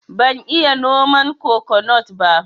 Ban iya noman kokonut ba